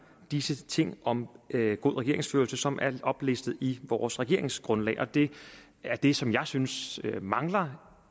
disse ting om god regeringsførelse som er oplistet i vores regeringsgrundlag og det er det som jeg synes mangler